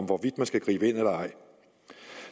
hvorvidt man skal gribe ind eller ej